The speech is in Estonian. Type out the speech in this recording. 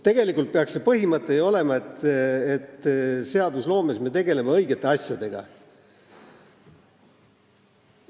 Tegelikult peaks põhimõte olema ju see, et me seadusloomes tegeleme õigete asjadega.